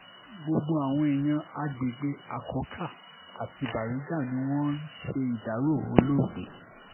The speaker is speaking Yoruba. gbogbo àwọn èèyàn àgbègbè akọ́kà àti baríga ni wọ́n ń ṣèdàrọ olóògbé